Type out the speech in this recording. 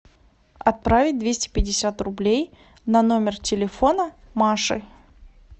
отправить двести пятьдесят рублей на номер телефона маши